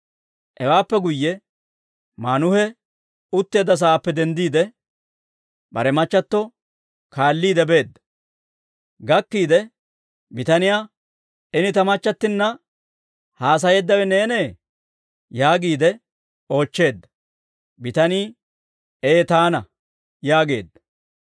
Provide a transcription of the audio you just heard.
Hewaappe guyye Maanuhe utteedda saappe denddiide, bare machchattio kaalliide beedda; gakkiide, bitaniyaa, «Ini ta machchattinna haasayeeddawe neenee?» yaagiide oochcheedda. Bitanii, «Ee taana» yaageedda.